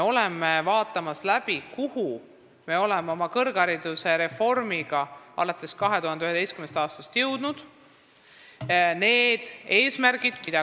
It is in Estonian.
Praegu me vaatame üle, kuhu me oleme alates 2011. aastast oma kõrghariduse reformiga jõudnud.